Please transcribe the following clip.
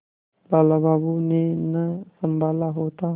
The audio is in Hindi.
लाला बाबू ने न सँभाला होता